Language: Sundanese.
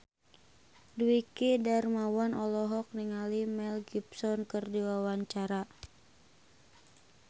Dwiki Darmawan olohok ningali Mel Gibson keur diwawancara